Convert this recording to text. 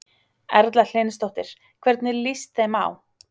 Erla Hlynsdóttir: Hvernig líst þeim á?